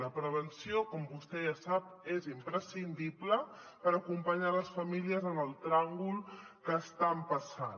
la prevenció com vostè ja sap és imprescindible per acompanyar les famílies en el tràngol que estan passant